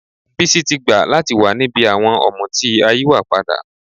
Bísí ti gbà láti wà níbi àwọn ọ̀mùtí ayíwàpadà